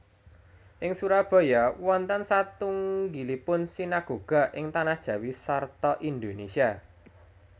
Ing Surabaya wonten satunggilipun sinagoga ing Tanah Jawi sarta Indonesia